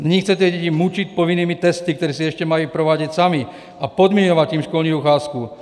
Nyní chcete děti mučit povinnými testy, které si ještě mají provádět samy, a podmiňovat tím školní docházku.